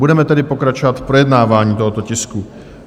Budeme tedy pokračovat v projednávání tohoto tisku.